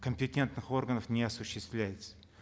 компетентных органов не осуществляется